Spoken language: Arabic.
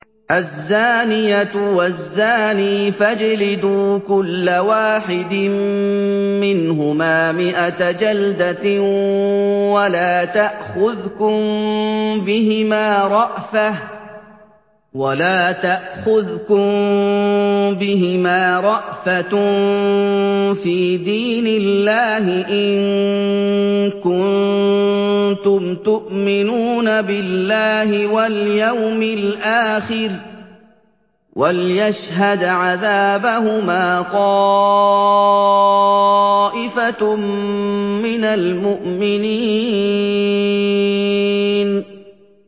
الزَّانِيَةُ وَالزَّانِي فَاجْلِدُوا كُلَّ وَاحِدٍ مِّنْهُمَا مِائَةَ جَلْدَةٍ ۖ وَلَا تَأْخُذْكُم بِهِمَا رَأْفَةٌ فِي دِينِ اللَّهِ إِن كُنتُمْ تُؤْمِنُونَ بِاللَّهِ وَالْيَوْمِ الْآخِرِ ۖ وَلْيَشْهَدْ عَذَابَهُمَا طَائِفَةٌ مِّنَ الْمُؤْمِنِينَ